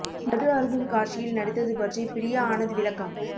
மது அருந்தும் காட்சியில் நடித்தது பற்றி பிரியா ஆனந்த் விளக்கம்